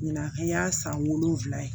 Ɲinan an y'a san wolonwula ye